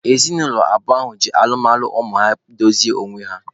Ezinaụlọ abụọ ahụ ji alụmalụ ụmụ ha dozie onwe ha.